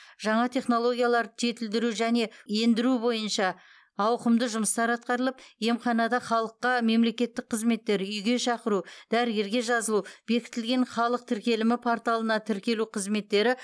жаңа технологияларды жетілдіру және ендіру бойынша ауқымды жұмыстар атқарылып емханада халыққа мемлекеттік қызметтер үйге шақыру дәрігерге жазылу бекітілген халық тіркелімі порталына тіркелу қызметтері